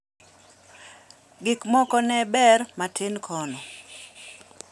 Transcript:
Gik moko ne ber matin kono .